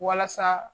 Walasa